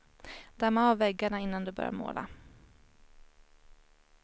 Damma av väggarna innan du börjar måla.